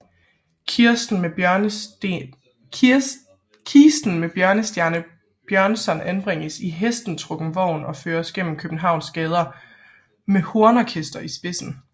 Kisten med Bjørnstjerne Bjørnson anbringes på hestetrukken vogn og føres gennem Københavns gader med hornorkester i spidsen